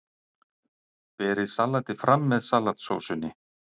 Berið salatið fram með salatsósunni.